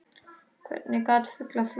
Hvernig geta fuglar flogið?